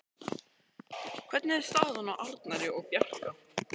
Hvernig er staðan á Arnari og Bjarka?